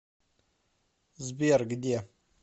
сбер где